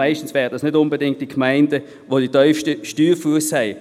Meistens sind dies nicht die Gemeinden, die den tiefsten Steuerfuss haben.